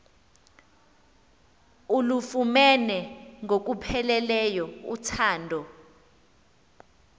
ulufumene ngokupheleleyo uthando